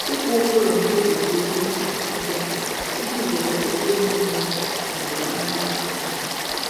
Ịkwụ ụgwọ ụlọ n'oge dị oké mkpa oké mkpa iji zere ụgwọ emeghị n'oge na ntaramahụhụ na-adịghị mkpa.